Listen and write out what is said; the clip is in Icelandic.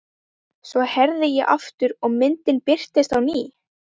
Svo herði ég aftur og myndin birtist á ný.